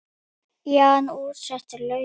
Jan útsetur lögin.